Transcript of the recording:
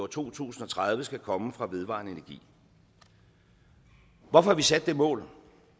to tusind og tredive skal komme fra vedvarende energi hvorfor har vi sat det mål